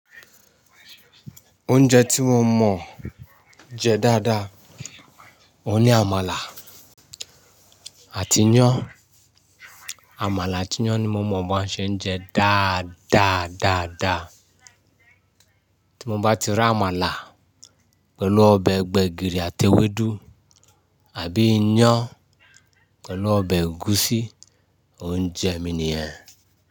Oúnjẹ tí mo mọ̀ jẹ dáadáa, òun ni àmàlà àti iyán. Àmàlà àti iyán ni mo mọ̀ bí wọ́n ṣe ń jẹ dá dáadáa dá. Tí mo bá ti ri àmàlà pẹ̀lú ọbẹ̀ gbẹ̀gìrì àti ewédú àbí iyán pẹ̀lú ọbẹ̀ ẹ̀gúsí, òun jẹ mi nìyẹn.